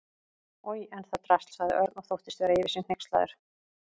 Oj, en það drasl sagði Örn og þóttist vera yfir sig hneykslaður.